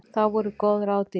Þá voru góð ráð dýr!